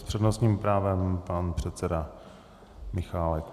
S přednostním právem pan předseda Michálek.